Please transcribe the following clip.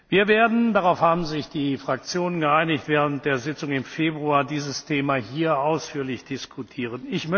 Wir werden darauf haben sich die Fraktionen geeinigt während der Sitzung im Februar dieses Thema hier ausführlich diskutieren.